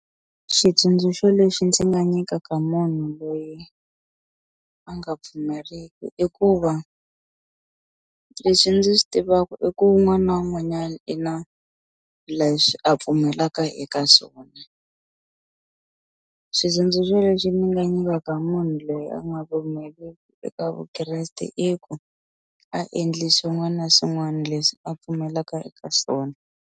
Xitsundzuxo lexi ndzi nga nyikaka munhu loyi a nga pfumeriki i ku va leswi ndzi swi tivaku i ku wun'wani na wun'wanyani i na leswi a pfumeleleka eka swona xitsundzuxo lexi ni nga nyikaka munhu loyi a nga pfumeriki eka Vukreste i ku a endli swin'wani na swin'wani leswi a pfumelaka eka swona.